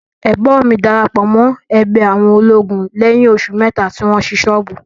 Ẹ̀gbọ́n mi darapọ̀ mọ́ ẹgbẹ́ àwọn olóògùn lẹ́yìn oṣù mẹ́ta tí wọ́n ṣí ṣọ́ọ̀bù.